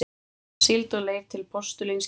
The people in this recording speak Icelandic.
síld og leir til postulínsgerðar.